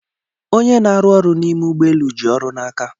Onye n'aru ọrụ n'ime ụgbọelu ji ọrụ n'aka.